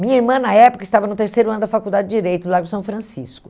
Minha irmã, na época, estava no terceiro ano da faculdade de Direito, lá em São Francisco.